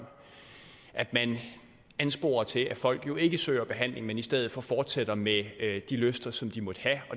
ansporer til at folk jo ikke søger behandling men i stedet for fortsætter med de lyster som de måtte have